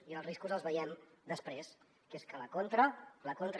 i els riscos els veiem després que són que la contra